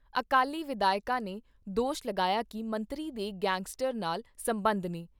ਅਕਾਲੀ ਵਿਧਾਇਕਾਂ ਨੇ ਦੋਸ਼ ਲਾਇਆ ਗਿਆ ਕਿ ਮੰਤਰੀ ਦੇ ਗੈਂਗਸਟਰ ਨਾਲ ਸਬੰਧ ਨੇ।